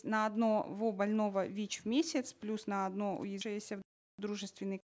на одного больного вич в месяц плюс на одно дружественный